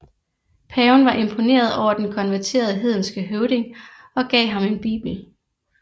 Paven var imponeret over den konverterede hedenske høvding og gav ham en bibel